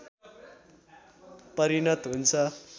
परिणत हुन्छ